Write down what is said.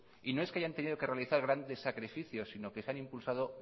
y no es que hayan tenido que realizar grandes sacrificios sino que se han impulsado